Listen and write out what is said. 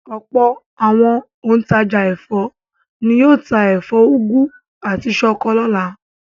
Ọ̀pọ̀ àwọn òǹtajà ẹ̀fọ́ ni yóò ta ẹ̀fọ́ úgú àti ṣọkọ lọ́la.